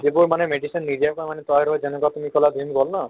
যিবোৰ মানে নিজাকৈ মানে তৈয়াৰ কৰি যেনেকুৱা তুমি ক'লা ন ভিম ক'ল ন